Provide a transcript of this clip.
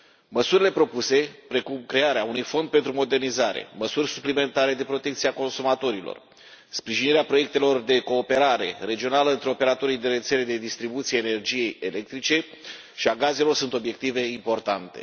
Măsurile propuse, precum crearea unui fond pentru modernizare, măsuri suplimentare de protecție a consumatorilor, sprijinirea proiectelor de cooperare regională între operatorii de rețele de distribuție a energiei electrice și a gazelor sunt obiective importante.